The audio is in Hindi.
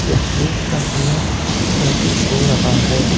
यह दिन का समय प्रतीत हो रहा है।